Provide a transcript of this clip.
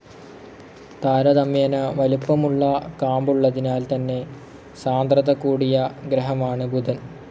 താരതമ്യേന വലിപ്പമുള്ള കാമ്പുള്ളതിനാൽ തന്നെ സാന്ദ്രത കൂടിയ ഗ്രഹമാണ്‌ ബുധൻ.